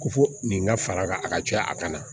Ko fo nin ka fara kan a ka ca a ka na